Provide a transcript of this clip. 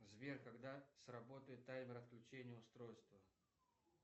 сбер когда сработает таймер отключения устройства